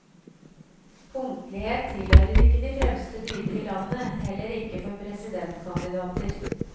Punktlighet tilhører ikke de fremste dyder i landet, heller ikke for presidentkandidater.